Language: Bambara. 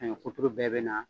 Saɲɔ kuturu bɛɛ bɛ na